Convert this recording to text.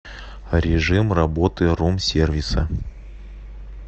режим работы рум сервиса